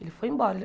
Ele foi embora.